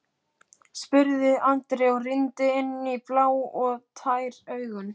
Gluggalausan braggann og hvíta, steypta veggina á viðbyggingunni.